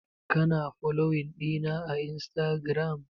Kina foloyin ɗina a instagiram?